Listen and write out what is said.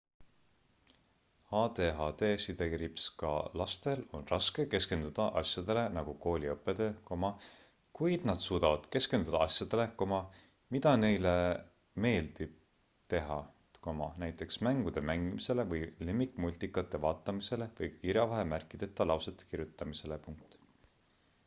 adhd-ga lastel on raske keskenduda asjadele nagu kooli õppetöö kuid nad suudavad keskenduda asjadele mida neile teha meeldib näiteks mängude mängimisele või lemmikmultikate vaatamisele või kirjavahemärkideta lausete kirjutamisele